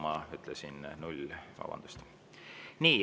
Ma ütlesin 0, vabandust!